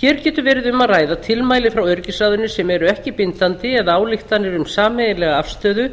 hér getur verið um að ræða tilmæli frá öryggisráðinu sem eru ekki bindandi eða ályktanir um sameiginlega afstöðu